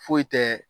Foyi tɛ